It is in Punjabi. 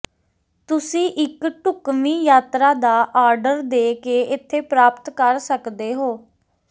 ਤੁਸੀਂ ਇੱਕ ਢੁਕਵੀਂ ਯਾਤਰਾ ਦਾ ਆੱਰਡਰ ਦੇ ਕੇ ਇੱਥੇ ਪ੍ਰਾਪਤ ਕਰ ਸਕਦੇ ਹੋ